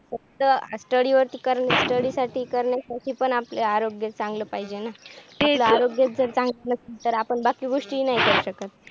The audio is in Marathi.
स्टडी व्यवस्तीत करण्या साठी पण आपले आरोग्य चांगले पाहिजे ना, आरोग्य जर चांगला नसेल तर आपण बाकी गोष्टी नाही करू शकत